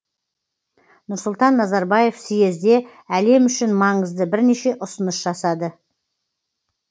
нұрсұлтан назарбаев съезде әлем үшін маңызды бірнеше ұсыныс жасады